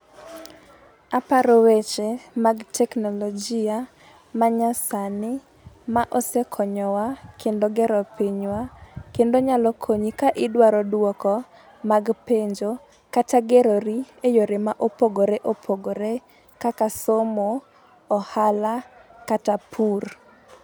Aparo weche mag teknolojia ma nyasani ma osekonyowa kendo gero pinywa, kendo nyalo konyi ka idwaro dwoko mag penjo kata gerori e yore ma opogore opogore kaka somo, ohala kata pur.